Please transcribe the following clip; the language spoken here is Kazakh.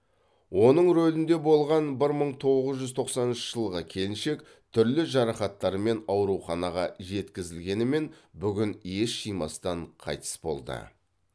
оның рулінде болған бір мың боғыз жүз тоқсаныншы жылғы келіншек түрлі жарақаттармен ауруханаға жеткізілгенімен бүгін ес жимастан қайтыс болды